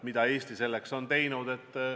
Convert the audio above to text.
Mida Eesti on teinud?